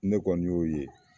Ne kɔni y'o ye